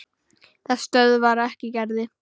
Það stöðvar ekki Gerði.